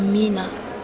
mmina